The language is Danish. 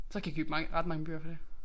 Så kan jeg købe mange ret mange bøger for det